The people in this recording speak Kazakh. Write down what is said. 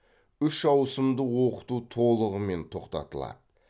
үш ауысымды оқыту толығымен тоқтатылады